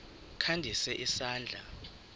kha ndise isandla